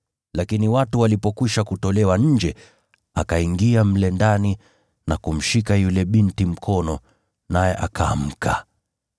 Lakini watu walipokwisha kutolewa nje, akaingia mle ndani na kumshika yule binti mkono, naye akaamka.